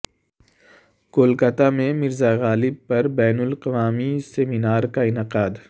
کولکاتہ میں مرزا غالب پر بین الاقوامی سیمینار کا انعقاد